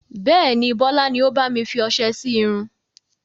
Bẹ́ẹ̀ni, Bọlá ni ó bami fi ọsẹ sì irun.